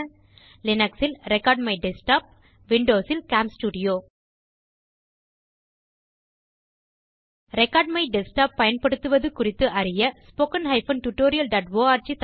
linux ல் record my desktop windows ல் கேம்ஸ்டூடியோ ரெக்கார்ட் மை டெஸ்க்டாப் பயன்படுத்துவது குறித்து அறிய httpwwwspoken tutorialorg